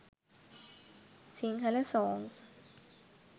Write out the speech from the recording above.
sinhala songs